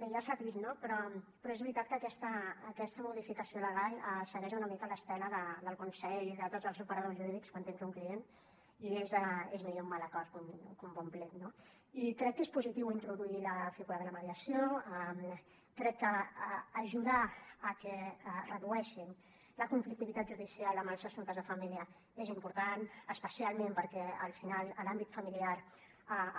bé ja s’ha dit no però és veritat que aquesta modificació legal segueix una mica l’estela del consell de tots els operadors jurídics quan tens un client i és millor un mal acord que un bon plet no i crec que és positiu introduir la figura de la mediació crec que ajudar a que redueixin la conflictivitat judicial en els assumptes de família és important especialment perquè al final a l’àmbit familiar